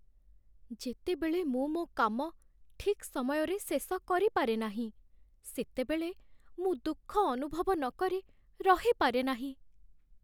ଯେତେବେଳେ ମୁଁ ମୋ କାମ ଠିକ୍ ସମୟରେ ଶେଷ କରିପାରେ ନାହିଁ, ସେତେବେଳେ ମୁଁ ଦୁଃଖ ଅନୁଭବ ନକରି ରହିପାରେ ନାହିଁ।